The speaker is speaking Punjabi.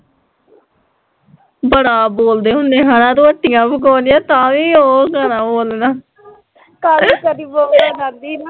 ਬੜਾ ਬੋਲਦੇ ਹੁੰਦੇ ਹੈਨਾ ਰੋਟੀਆ ਪਕਾਉਂਦੀਆ ਤਾਂ ਵੀ ਓਹ ਗਾਣਾ ਬੋਲਣਾ